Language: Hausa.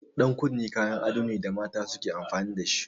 Ɗan kunne kayan ado ne da mata suke amfani dashi.